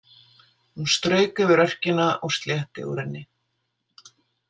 Hún strauk yfir örkina og slétti úr henni.